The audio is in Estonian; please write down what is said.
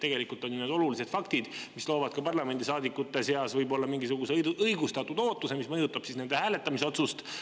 Tegelikult on need ju olulised faktid, mis loovad ka parlamendisaadikute seas võib-olla mingisuguse õigustatud ootuse, mis mõjutab nende hääletamisotsust.